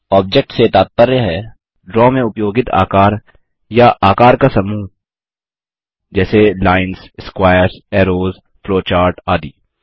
object से तात्पर्य है ड्रा में उपयोगित आकार या आकार का समूह जैसे लाइन्स स्क्वायर्स ऐरोज फ्लोचार्ट आदि